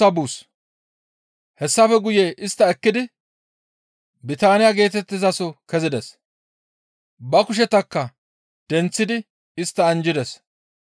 Hessafe guye istta ekkidi Bitaaniya geetettizaso kezides. Ba kushetakka denththidi istta anjjides.